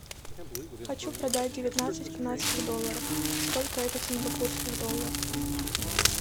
хочу продать девятнадцать канадских долларов сколько это в сингапурских долларах